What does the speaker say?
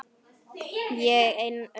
Og ein horfði á pabba.